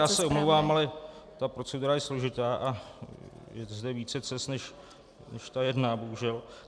Já se omlouvám, ale ta procedura je složitá a je zde více cest než ta jedna, bohužel.